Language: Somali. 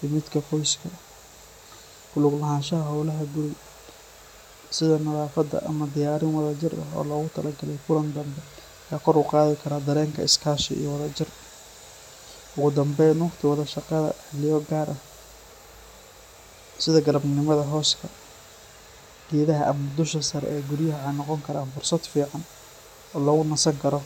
iyo midka qoyska. Ku lug lahaanshaha hawlaha guri sida nadaafadda ama diyaarin wada jir ah oo loogu talagalay kulan dambe ayaa kor u qaadi kara dareenka iskaashi iyo wadajir. Ugu dambayn, waqti wada qaadashada xilliyo gaar ah sida galabnimada hooska geedaha ama dusha sare ee guryaha waxay noqon karaan fursad fiican oo lagu nasan karo.